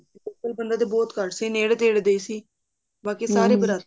local ਬੰਦਾ ਤਰ ਬਹੁਤ ਘਟ ਸੀ ਨੇੜੇ ਤੇੜੇ ਦੇ ਸੀ ਬਾਕੀ ਸਾਰੇ